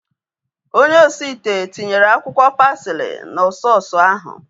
Onye osi ite ahu tinyere akwụkwọ pasili na sọọsu ahu